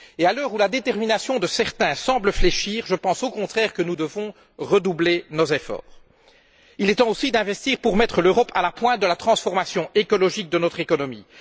À l'heure où la détermination de certains semble fléchir, je pense au contraire que nous devons redoubler nos efforts. Il est temps aussi d'investir pour mettre l'Europe à la pointe de la transformation écologique de notre économie.